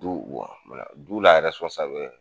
Du wɔ ola du la ɛrɛsipɔn sawɛ